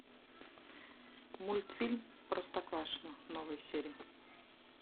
мультфильм простоквашино новые серии